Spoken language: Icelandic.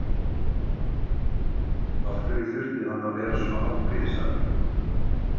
Af hverju þurfti hann að vera svona afbrýðisamur?